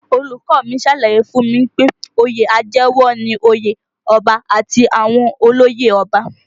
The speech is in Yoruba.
Olùkọ́ ọ mi ṣàlàyé fún mi pé oyè àjẹwọ̀ ni òye ọba àti àwọn olóyè ọba